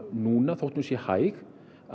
núna þótt hún sé hæg